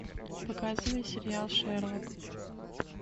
показывай сериал шерлок